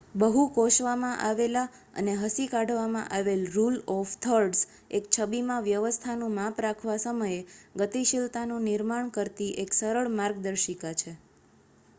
બહુ કોશવામાં અને હસી કાઢવામાં આવેલ રુલ ઓફ થર્ડસ એક છબીમાં વ્યવસ્થાનું માપ રાખવા સમયે ગતિશીલતાનું નિર્માણ કરતી એક સરળ માર્ગદર્શિકા છે